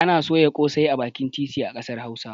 Ana soya ƙosai a bakin titi a ƙasar hausa